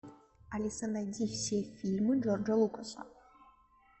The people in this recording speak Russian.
алиса найди все фильмы джорджа лукаса